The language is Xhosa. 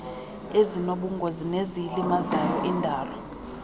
ezinobungozi neziyilimazayo indalo